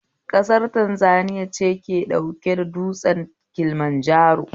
Kasar Tanzaniya ce ke da tsaunin Kilimanjaro